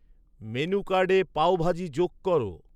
menu কার্ডে পাওভাজি যোগ কর